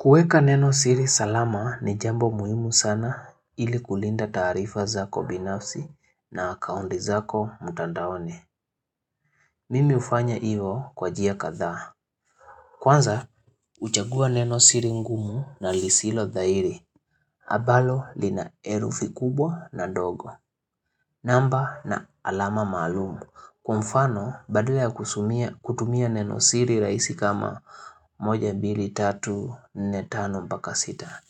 Kueka neno siri salama ni jambo muhimu sana ili kulinda taarifa zako binafsi na akaundi zako mtandaoni. Mimi ufanya ivo kwa jia kathaa. Kwanza, uchagua neno siri ngumu na lisilo dhairi. Abalo linaerufi kubwa na dogo. Namba na alama maalumu. Kwamfano, badala ya kutumia neno siri raisi kama moja bili tatu nne tano mpaka sita.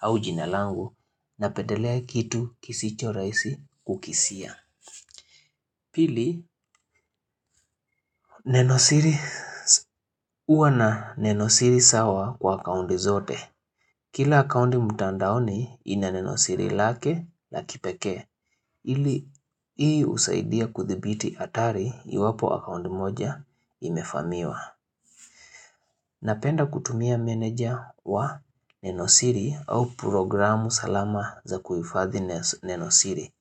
Au jinalangu na petelea kitu kisicho raisi kukisia. Pili, uwa na nenosiri sawa kwa akaundi zote. Kila akaundi mtandaoni ina nenosiri lake la kipekee. Ili, ii usaidia kuthibiti atari iwapo akaundi moja imefamiwa. Napenda kutumia menedja wa nenosiri au programu salama za kuifadhi nenosiri.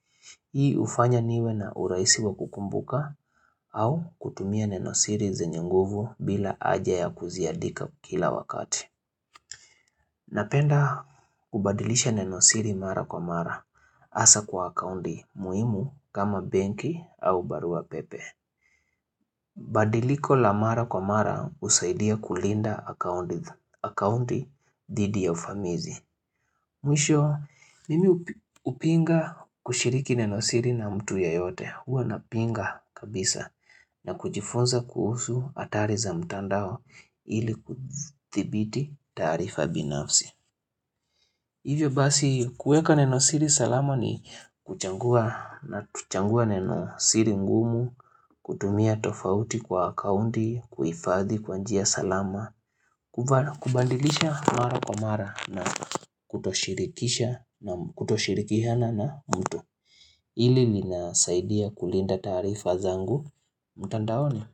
Hii ufanya niwe na uraisi wa kukumbuka au kutumia nenosiri zenyenguvu bila aja ya kuziadika kila wakati. Napenda kubadilisha nenosiri mara kwa mara asa kwa akaundi muimu kama benki au barua pepe. Badiliko la mara kwa mara usaidia kulinda akaundi dhidi ya ufamizi. Mwisho, mimi upinga kushiriki nenosiri na mtu ye yote, huwa na pinga kabisa na kujifunza kuhusu hatari za mtandao ili kuthibiti taarifa binafsi. Hivyo basi kueka neno siri salama ni kuchangua na kuchangua neno siri ngumu, kutumia tofauti kwa akaundi, kuifadhi kwa njia salama, kubandilisha mara kwa mara na kutoshirikisha na kutoshirikihana na mtu Hili linasaidia kulinda taarifa zangu, mtandaoni.